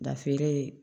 Da feere